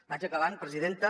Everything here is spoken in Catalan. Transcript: vaig acabant presidenta